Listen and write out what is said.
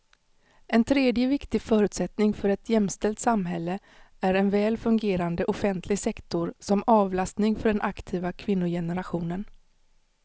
En tredje viktig förutsättning för ett jämställt samhälle är en väl fungerande offentlig sektor som avlastning för den aktiva kvinnogenerationen.